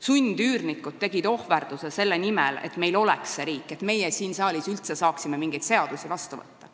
Sundüürnikud tegid ohverduse selle nimel, et meil oleks see riik, et meie siin saalis üldse saaksime mingeid seadusi vastu võtta.